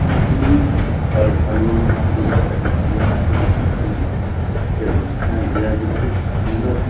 कितनी श्रद्धालुओं यहाँ पूजा करने के लिए आते हैं बहुत ही अच्छे से बनाया गया देखिये मूरत --